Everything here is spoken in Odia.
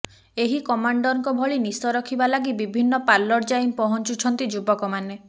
ଏହି କମାଣ୍ଡରଙ୍କ ଭଳି ନିଶ ରଖିବା ଲାଗି ବିଭିନ୍ନ ପାର୍ଲର ଯାଇ ପହଞ୍ଚୁଛନ୍ତି ଯୁବକମାନେ